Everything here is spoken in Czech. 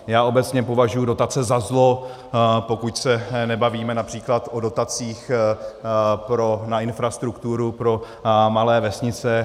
Já obecně považuji dotace za zlo, pokud se nebavíme například o dotacích na infrastrukturu pro malé vesnice.